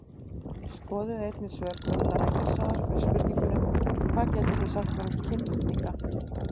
Skoðið einnig svör Guðmundar Eggertssonar við spurningunum: Hvað getið þið sagt mér um kynlitninga?